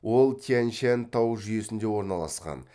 ол тянь шань тау жүйесінде орналасқан